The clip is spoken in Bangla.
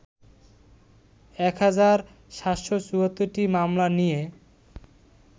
১ হাজার ৭৭৪টি মামলা নিয়ে